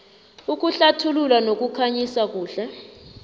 ukuhlathulula nokukhanyisa kuhle